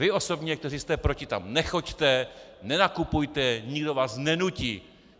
Vy osobně, kteří jste proti, tam nechoďte, nenakupujte, nikdo vás nenutí.